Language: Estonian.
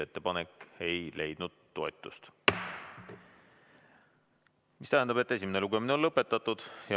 Ettepanek ei leidnud toetust, mis tähendab, et esimene lugemine on lõpetatud.